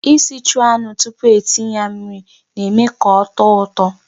Isichu anụ tupu etinye ya mmiri na-eme ka ọ tọọ ụtọ.